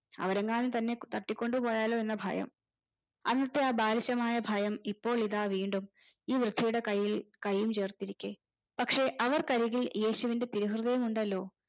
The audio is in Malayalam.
അവരെങ്ങാനും തന്നെ തട്ടിക്കൊണ്ടു പോയാലോ എന്ന ഭയം അന്നത്തെ ആ ബാലിശമായ ഭയം ഇപ്പോൾ ഇതാ വീണ്ടും ഈ വൃദ്ധയുടെ കയ്യിൽ കയ്യും ചേർത്തിരിക്കെ പക്ഷെ അവർക്കരികിൽ യേശുവിന്റെ തിരു ഹൃദയം ഉണ്ടല്ലോ